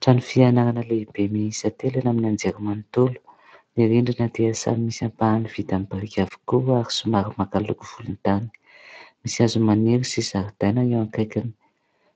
Trano fianarana lehibe miisa telo eny amin'ny anjery manontolo ; ny rindrina dia samy misy ampahany vita amin'ny biriky avokoa ary somary maka loko volon-tany. Misy hazo maniry sy zaridaina eo akaikiny